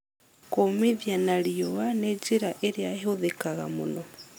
Kũmithia na riũa nĩ njĩra ĩrĩa ĩhũthĩkaga mũno.